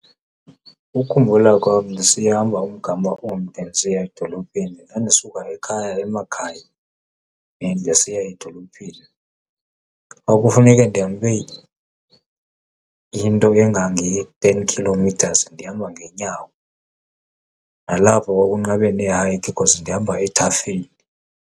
Ukukhumbula kwam sihamba umgama omde ndisiya edolophini ndandisuka ekhaya emakhaya then ndisiya edolophini, kwakufuneke ndihambe into engange-ten kilometers ndihamba ngeenyawo. Nalapho kwakunqabe nee-hike cause ndihamba ethafeni.